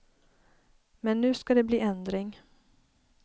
Men nu ska det bli ändring.